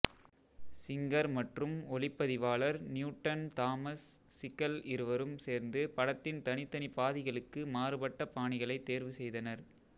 singer மற்றும் ஒளிப்பதிவாளர் Newton Thomas Sigel இருவரும் சேர்ந்து படத்தின் தனித்தனி பாதிகளுக்கு மாறுபட்ட பாணிகளைத் தேர்வு செய்தனர்